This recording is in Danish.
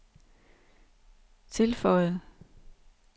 tilføjede